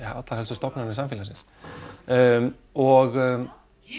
allra helstu stofnanna samfélagsins og